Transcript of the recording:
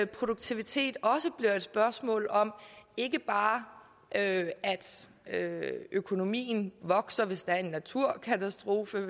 produktivitet også bliver et spørgsmål om ikke bare at økonomien vokser hvis der er en naturkatastrofe